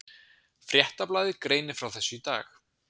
Fréttablaðið greinir frá þessu í dag